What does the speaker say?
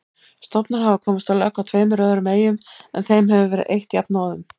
Stofnar hafa komist á legg á tveimur öðrum eyjum en þeim hefur verið eytt jafnóðum.